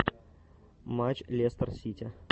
матч лестер сити